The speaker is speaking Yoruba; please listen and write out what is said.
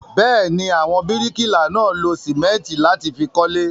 Bẹ́ẹ̀ ni, àwọn bíríkìlà náà lo sìmẹ́ńtì láti fi kọ́lé.